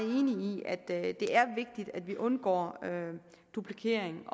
enig i at det er vigtigt at vi undgår duplikering